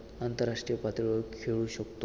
आंतरराष्ट्रीय पातळीवर खेळू शकतो.